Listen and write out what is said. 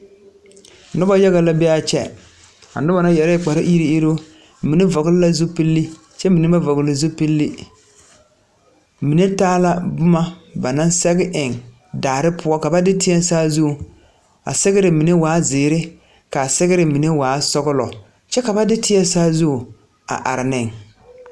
Noba yaga la be kyɛ, a noba yarɛ kpare iri iri mine fɔle la zupil kyɛ mine ba fɔle zupil, mine taa la boma ba naŋ sɛge eŋ daare poɔ ka ba de teɛ saazuŋ, a sɛgere mine waa ziiri kyɛ ka mine waa sɔglɔ kyɛ ka ba de teɛ saazu a are ne.